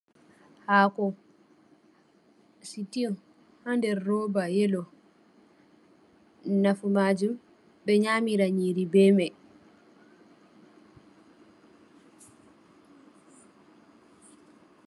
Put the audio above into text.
Haako stew ha nder roba yellow, nafu maajum, ɓe nyamira nyiri be mai.